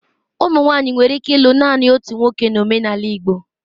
Ụmụ nwanyị nwere ike ịlụ naanị otu nwoke na omenala Igbo